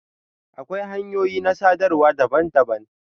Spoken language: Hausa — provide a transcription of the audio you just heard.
Akwai hanyoyin na sadarwa daban-daban.